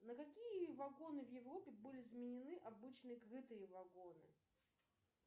на какие вагоны в европе были заменены обычные крытые вагоны